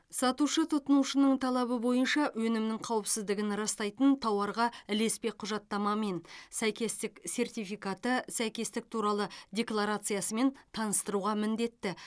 сатушы тұтынушының талабы бойынша өнімнің қауіпсіздігін растайтын тауарға ілеспе құжаттамамен сәйкестік сертификаты сәйкестік туралы декларациясымен таныстыруға міндетті